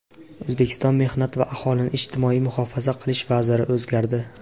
O‘zbekiston mehnat va aholini ijtimoiy muhofaza qilish vaziri o‘zgardi.